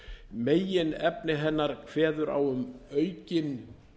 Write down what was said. meginefni hennar kveður á um aukinn